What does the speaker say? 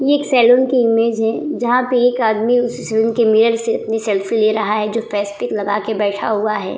ये एक सैलून की इमेज है जहां पे एक आदमी उस सैलून के मिरर से अपनी सेल्फी ले रहा है जो फेस पैक लगा के बैठा हुआ है ।